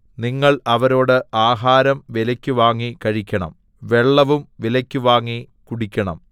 നിങ്ങൾ അവരോട് ആഹാരം വിലയ്ക്ക് വാങ്ങി കഴിക്കണം വെള്ളവും വിലയ്ക്ക് വാങ്ങി കുടിക്കണം